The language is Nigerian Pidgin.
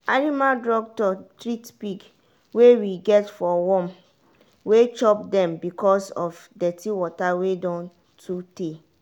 animal doctor treat pig wey we get for worm wey chop dem because of dirty water wey don too tey.